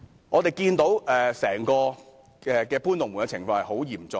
我們看到整個搬"龍門"的情況十分嚴重。